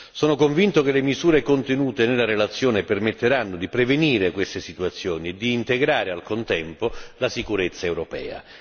Sono convinto che le misure contenute nella relazione permetteranno di prevenire queste situazioni e di integrare al contempo la sicurezza europea.